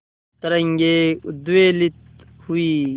तरंगे उद्वेलित हुई